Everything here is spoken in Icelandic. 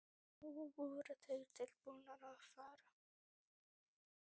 Nú voru þeir tilbúnir að fara.